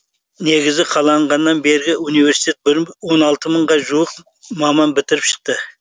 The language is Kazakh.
негізі қаланғаннан бергі университетті он алты мыңға жуық маман бітіріп шықты